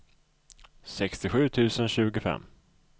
sextiosju tusen tjugofem